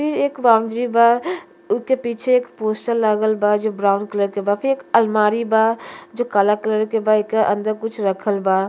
फिर एक वांगजी बा उ के पीछे एक पोस्टर लागल बा जो ब्राउन कलर के बा फिर एक अलमारी बा जो काला कलर के बा एके अंदर कुछ राखल बा।